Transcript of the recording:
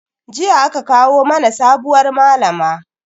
Jiya aka kawo mana sabuwar malama.